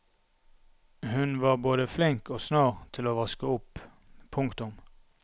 Hun var både flink og snar til å vaske opp. punktum